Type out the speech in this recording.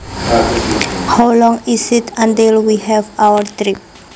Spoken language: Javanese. How long is it until we have our trip